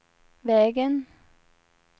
vägen